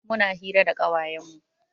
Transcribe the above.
Muna hira da ƙawayen mu.